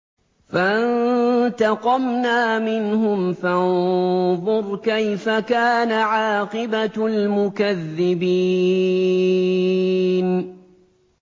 فَانتَقَمْنَا مِنْهُمْ ۖ فَانظُرْ كَيْفَ كَانَ عَاقِبَةُ الْمُكَذِّبِينَ